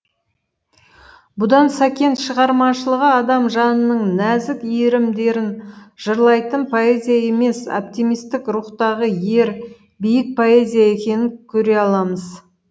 бұдан сәкен шығармашылығы адам жанының нәзік иірімдерін жырлайтын поэзия емес оптимистік рухтағы ер биік поэзия екенін көре аламыз